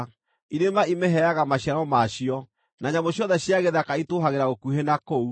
Irĩma ĩmĩheaga maciaro maacio, na nyamũ ciothe cia gĩthaka itũũhagĩra gũkuhĩ na kũu.